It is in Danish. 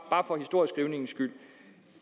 for historieskrivningens skyld